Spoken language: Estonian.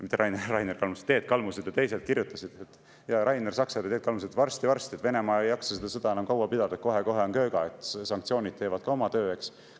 Mitte Rainer Kalmused, Rainer Saksad ja Teet Kalmused, et varsti-varsti ei jaksa Venemaa seda sõda enam pidada, kohe-kohe on kööga, sanktsioonid teevad ka oma töö, eks.